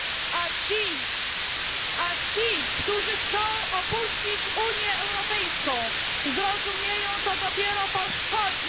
A ci, którzy chcą opuścić Unię Europejską, zrozumieją to dopiero po szkodzie.